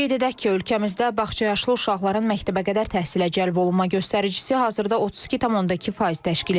Qeyd edək ki, ölkəmizdə bağça yaşlı uşaqların məktəbəqədər təhsilə cəlb olunma göstəricisi hazırda 32,2% təşkil edir.